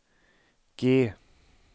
G